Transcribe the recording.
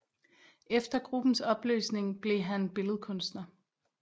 Efter gruppens opløsning blev han billedkunstner